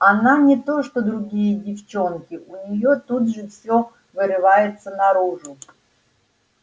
она не то что другие девчонки у неё тут же всё вырывается наружу